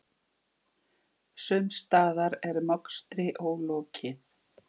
Sums staðar er mokstri ólokið.